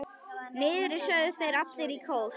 Niðri, sögðu þeir allir í kór.